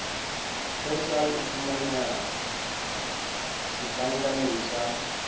persal e fumaneha setlankaneng sa